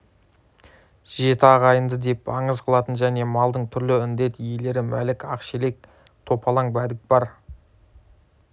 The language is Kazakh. жеті ағайынды деп аңыз қылатын және малдың түрлі індет иелері мәлік ақшелек топалаң бәдік бар